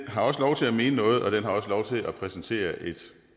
har også lov til at mene noget og den har også lov til at præsentere et